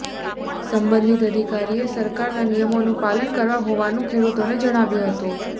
સંબધિત અધિકારી એ સરકાર ના નિયમોનું પાલન કરવા હોવાનુ ખેડૂતો ને જણાવ્યું હતું